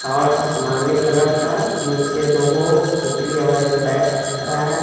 और असमानी कलर का नीचे दो स्कूटी और एक बैग दिख रहा हैं.